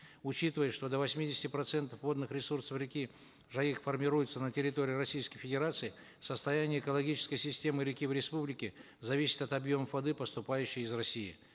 учитывая что до восьмидесяти процентов водных ресурсов реки жайык формируется на территории российской федерации состояние экологической системы реки в республике зависит от объемов воды поступающей из россии